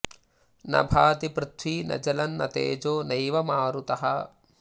न भाति पृथ्वी न जलं न तेजो नैव मारुतः